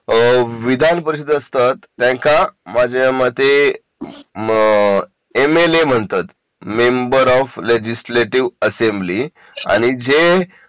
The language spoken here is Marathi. विधानपरिषद असता त्यांचा माझ्या मते एम एल ए म्हणतात मेंबर ऑफ लेजिस्लेटिव्ह असेंबली आणि जे